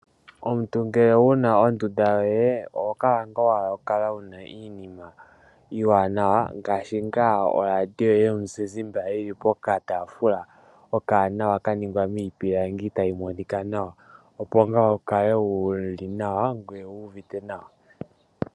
Omuntu ngele wuna ondunda yoye oho kala nga wahala ngaa oku kala wuna iinima iiwanawa. Ngaashi nga oradio yomuzizimba yili pokatafuula ka ningwa miipilangi taka monika nawa. Opo nga wu kale wuli nawa ngoye wu uvite nawa.